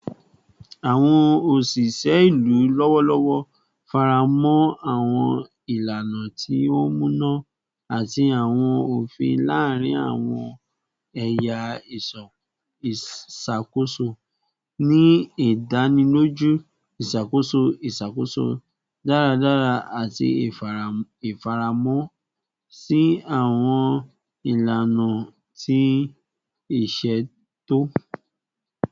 Awọn oṣiṣẹ ilu lọwọlọwọ faramọ awọn ilana ti o muna ati awọn ofin laarin awọn ẹya iṣakoso, ni idaniloju iṣakoso iṣakoso daradara ati ifaramọ si awọn ilana ti iṣeto.